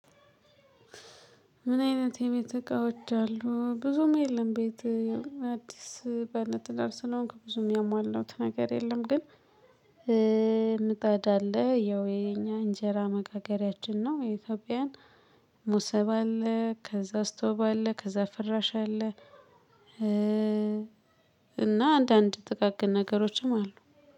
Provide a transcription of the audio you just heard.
ምን አይነት የቤት እቃዎች አሉ ብዙም የለም ቤት አዲስ በለትደር ስለሆንክ ብዙም የሟለሁት ነገር የለም። ግን ምጣዳ አለ ያው የኛ እንጀራ መጋገሪያችን ነው የኢትዮጵያን ሙሰባ አለ ከዛ ስቶብ አለ ከዛ ፍራሽ አለ። እና አንዳንድ ጥቃቅን ነገሮችም አሉ።